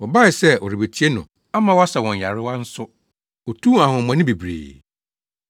Wɔbae sɛ wɔrebetie no ama wasa wɔn nyarewa nso. Otuu ahonhommɔne bebree.